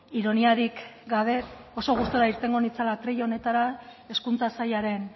ironiarik gabe oso gustura irtengo nintzela atril honetara hezkuntza sailaren